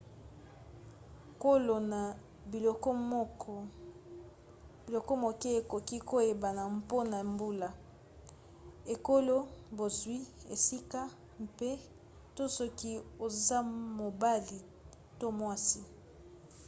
kolona biloko moke ekoki koyebana mpona mbula ekolo bozwi esika mpe/to soki oza mobali to mwasi